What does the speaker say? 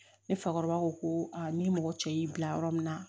Ne fakɔrɔba ko ko ni mɔgɔ cɛ y'i bila yɔrɔ min na